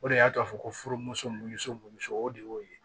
O de y'a to a fɔ ko furumuso misɛnnin mɔnso o de y'o ye